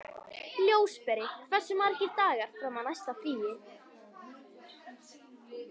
Ljósberi, hversu margir dagar fram að næsta fríi?